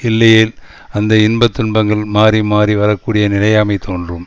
இல்லையேல் அந்த இன்ப துன்பங்கள் மாறிமாறி வரக்கூடிய நிலையாமை தோன்றும்